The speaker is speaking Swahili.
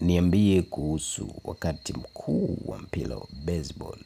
Niambie kuhusu wakati mkuu wa mpila wa baseball.